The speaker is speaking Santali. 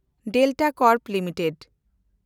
Delta Corp limited